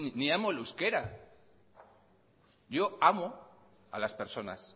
ni amo el euskera yo amo a las personas